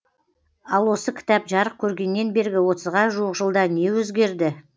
ал осы кітап жарық көргеннен бергі отызға жуық жылда не өзгерді